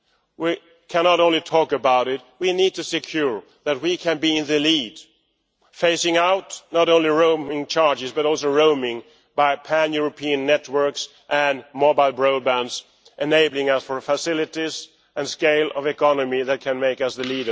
We cannot only talk about it, we need to ensure that we can be in the lead, phasing out not only roaming charges, but also roaming by pan European networks, on mobile broadband, enabling other facilities and a scale of economy that can make us the